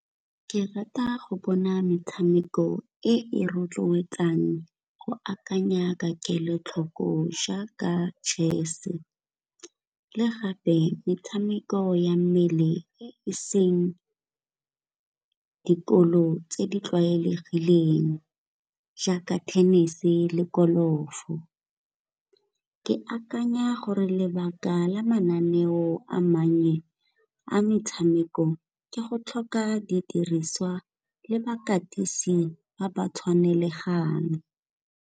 Ke rata go bona metshameko e rotloetsang go akanya ka kelotlhoko jaaka chess-e, le gape metshameko ya mmele e seng dikolo tse di tlwaelegileng jaaka tennis-e le golf-o. Ke akanya gore lebaka la mananeo a mannye a metshameko ke go tlhoka didiriswa le bakatisi ba ba tshwanelegang.